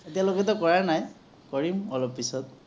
এতিয়ালৈকেতো কৰা নাই৷ কৰিম, অলপ পাছত৷